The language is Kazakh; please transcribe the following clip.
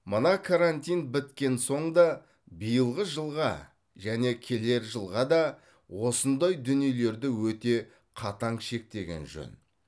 мына карантин біткен соң да биылғы жылға және келер жылға да осындай дүниелерді өте қатаң шектеген жөн